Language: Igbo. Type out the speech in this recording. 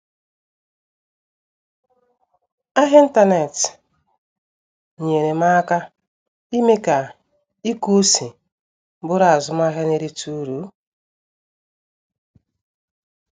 Ahịa n'ịntanetị nyere m aka ime ka ịkụ ose bụrụ azụmahịa na-erite uru